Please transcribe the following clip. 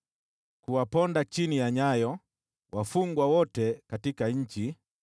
Kuwaponda chini ya nyayo wafungwa wote katika nchi,